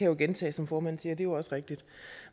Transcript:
jo gentage som formanden siger og jo også rigtigt